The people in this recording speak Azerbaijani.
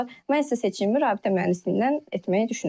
Mən isə seçimimi rabitə mühəndisliyindən etməyi düşünürəm.